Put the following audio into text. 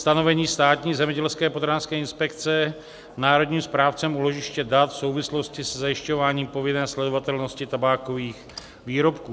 stanovení Státní zemědělské a potravinářské inspekce národním správcem úložiště dat v souvislosti se zajišťováním povinné sledovatelnosti tabákových výrobků.